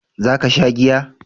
Za ka sha giya?